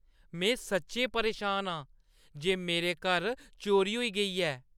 में सच्चैं परेशान आं जे मेरे घर चोरी होई गेई ऐ।